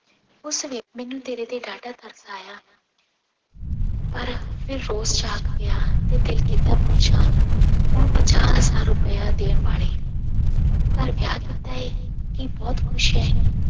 ਉਸ ਵੇ ਮੈਨੂੰ ਤੇਰੇ ਤੇ ਡਾਢਾ ਤਰਸ ਆਇਆ ਪਰ ਫਿਰ ਰੋਸ ਜਾਗ ਪਿਆ ਤੇ ਦਿਲ ਕੀਤਾ ਪੁੱਛਾਂ ਹੁਣ ਪੰਜਾਹ ਹਜ਼ਾਰ ਰੁਪਇਆ ਦੇਣ ਵਾਲੇ ਘਰ ਵਿਆਹ ਕੀਤਾ ਹੈ, ਕੀ ਬਹੁਤ ਖ਼ੁਸ਼ ਹੈ।